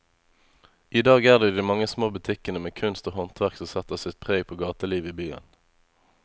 I dag er det de mange små butikkene med kunst og håndverk som setter sitt preg på gatelivet i byen.